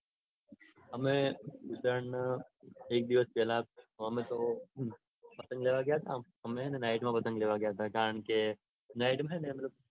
અમે હે ને ઉત્તરાયણના એક દિવસ પેલા અમેતો પતંગ લેવા ગયા તા અમે હે ને નાઈટ માં પતંગ લેવા ગયા તા. કારણકે નાઈટમાં હ ને તે